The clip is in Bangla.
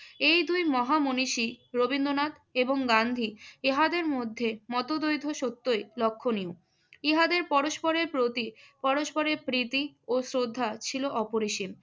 এই দুই মহা মনীষী রবীন্দ্রনাথ এবং গান্ধী ইহাদের মধ্যে মতদ্বৈত সত্যই লক্ষণীয়। ইহাদের পরস্পরের প্রতি পরস্পরের প্রীতি ও শ্রদ্ধা ছিল অপরিসীম।